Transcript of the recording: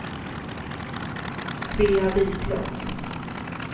Svea Viklund